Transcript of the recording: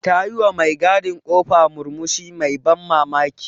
Ta yi wa me gadin ƙofa murmushi mai ban mamaki.